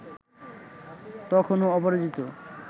তখনও অপরাজিত